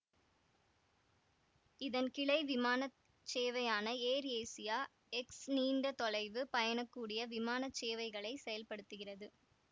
இதன் கிளை விமான சேவையான ஏர்ஏசியா எக்ஸ் நீண்ட தொலைவு பயணக்கூடிய விமான சேவைகளை செயல்படுத்துகிறது